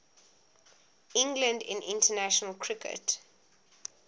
england in international cricket